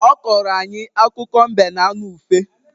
Ọ kọọrọ anyị akụkọ mbe na anụ ufe